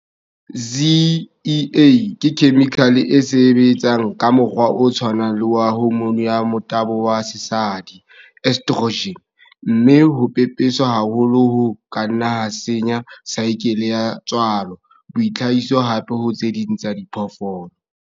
ZEA ke khemikhale e sebetsang ka mokgwa o tshwanang le wa hormone ya motabo ya sesadi, estrogen, mme ho pepeswa haholo ho ka nna ha senya saekele ya tswalo, boitlhahiso hape ho tse ding tsa diphoofolo.